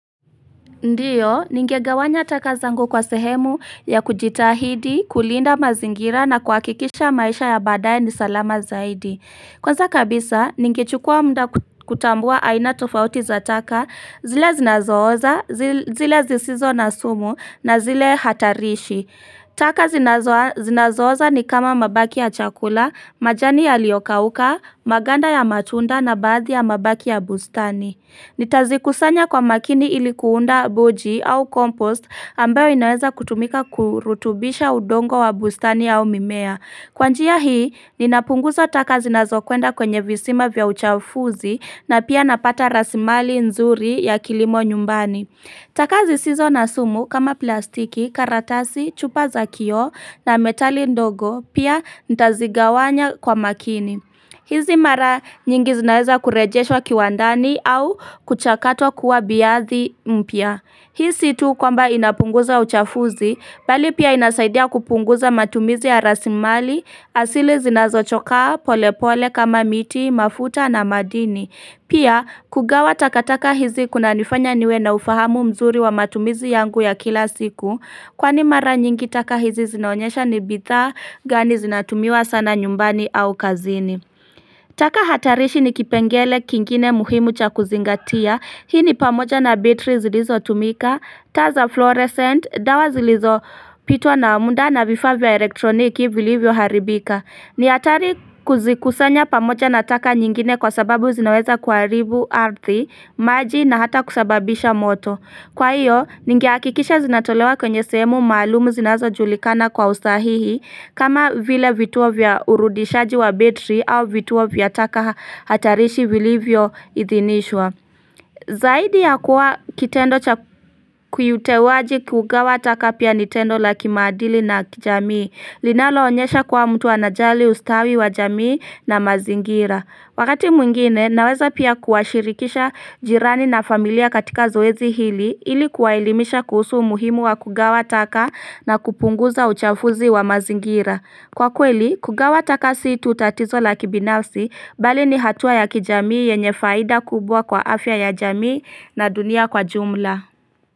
Ndiyo, ningegawanya taka zangu kwa sehemu ya kujitahidi, kulinda mazingira na kuakikisha maisha ya badaye ni salama zaidi. Kwanza kabisa, ningechukua mda kutambua aina tofauti za taka, zile zinazooza, zile zisizo na sumu na zile hatarishi. Taka zinazooza ni kama mabaki ya chakula, majani ya liokauka, maganda ya matunda na baadi ya mabaki ya bustani. Nitazi kusanya kwa makini ilikuunda boji au kompost ambayo inaweza kutumika kurutubisha udongo wa bustani au mimea. Kwa njia hii, ninapunguza takazi nazo kwenda kwenye visima vya uchafuzi na pia napata rasimali nzuri ya kilimo nyumbani. Takazi sizo na sumu kama plastiki, karatasi, chupa za kio na metali ndogo pia ntazigawanya kwa makini. Hizi mara nyingi zinaeza kurejesho kiwandani au kuchakato kuwa biyathi mpia. Hisi tu kwamba inapunguza uchafuzi, bali pia inasaidia kupunguza matumizi ya rasimali, asili zinazo choka pole pole kama miti, mafuta na madini. Pia kugawa takataka hizi kuna nifanya niwe na ufahamu mzuri wa matumizi yangu ya kila siku Kwa ni mara nyingi taka hizi zinaonyesha ni bidhaa gani zinatumiwa sana nyumbani au kazini taka hatarishi ni kipengele kingine muhimu cha kuzingatia Hii ni pamoja na betri zilizo tumika, taza fluorescent, dawa zilizo pitwa na muda na vifaa elektroniki vilivyo haribika ni atari kuzikusanya pamoja na taka nyingine kwa sababu zinaweza kwa ribu ardhi, maji na hata kusababisha moto. Kwa hiyo, ningiakikisha zinatolewa kwenye semu maalumu zinazo julikana kwa ustahihi kama vile vituo vya urudishaji wa betri au vituo vya taka hatarishi vili vyo idhinishwa. Zaidi ya kuwa kitendo kuyutewaji kugawa taka pia nitendo la kimadili na kijamii linalo onyesha kwa mtu wa najali ustawi wa jamii na mazingira Wakati mwingine naweza pia kuashirikisha jirani na familia katika zoezi hili Ili kuwailimisha kuhusu muhimu wa kugawa taka na kupunguza uchafuzi wa mazingira Kwa kweli kugawa takasi itu utatizo la kibinafsi bali ni hatua ya kijamii yenye faida kubwa kwa afya ya jamii na dunia kwa jumla.